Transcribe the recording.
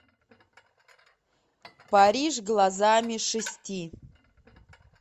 париж глазами шести